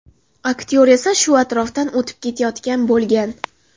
Aktyor esa shu atrofdan o‘tib ketayotgan bo‘lgan.